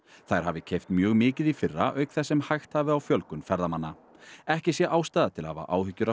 þær hafi keypt mjög mikið í fyrra auk þess sem hægt hafi á fjölgun ferðamanna ekki sé ástæða til að hafa áhyggjur af